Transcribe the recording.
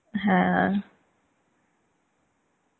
হ্যাঁ